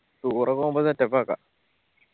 tour പോവുമ്പോ setup ആക്ക.